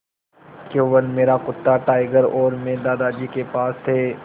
केवल मेरा कुत्ता टाइगर और मैं दादाजी के पास थे